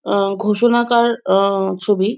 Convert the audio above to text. এ ঘোষনা কার আ ছবি ।